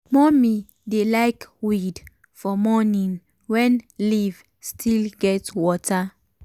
mummy dey like weed for morning when leaf still get water.